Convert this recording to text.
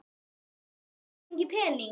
Getur mamma fengið pening?